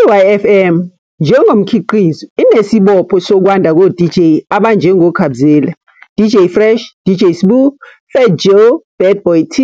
I-YFM njengomkhiqizo inesibopho sokwanda koDJ abanjengoKhabzela, DJ Fresh, DJ Sbu, Phat Joe, Bad Boy T,